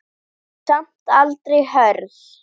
Samt aldrei hörð.